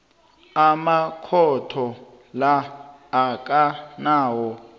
amakhotho la akanawo